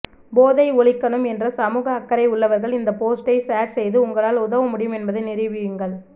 போதை ஒழிக்கணும் என்ற சமூக அக்கறை உள்ளவர்கள் இந்த போஸ்டை ஷேர் செய்து உங்களால் உதவ முடியும் என்பதை நிரூபியுங்கள்